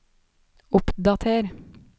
oppdater